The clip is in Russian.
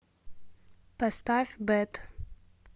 поставь бэд